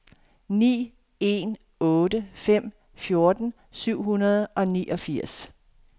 ni en otte fem fjorten syv hundrede og niogfirs